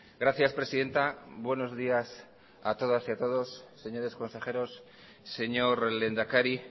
gracias presidenta buenos días a todas y todos señores consejeros señor lehendakari